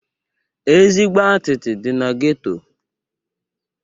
Ezigbo atịtị dị na geto.